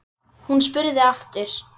Hún spurði aftur.